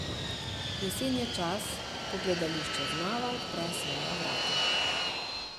Jesen je čas, ko gledališče znova odpre svoja vrata.